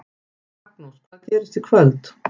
Magnús: Hvað gerist í kvöld?